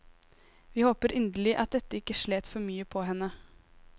Vi håper inderlig at dette ikke slet for mye på henne.